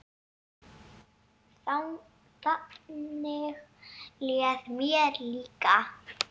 Þannig leið mér líka.